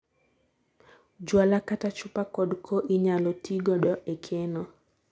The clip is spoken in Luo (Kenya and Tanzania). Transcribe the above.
jwala katachupa kod koo inyalo tii godo ekeno